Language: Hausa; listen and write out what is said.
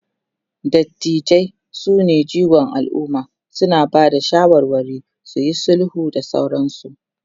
dattijai sune jigon alumma, suna Bada shawarwari, suyi sulhu da sauransu